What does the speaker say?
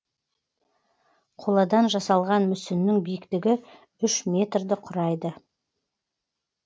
қоладан жасалған мүсіннің биіктігі үш метрді құрайды